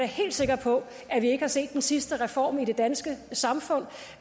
helt sikker på at vi ikke har set den sidste reform i det danske samfund